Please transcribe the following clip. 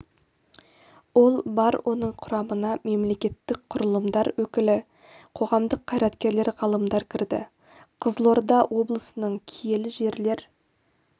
ол бар оның құрамына мемлекеттік құрылымдар өкілдері қоғамдық қайраткерлер ғалымдар кірді қызылорда облысының киелі жерлер